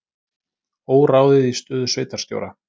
Óráðið í stöðu sveitarstjóra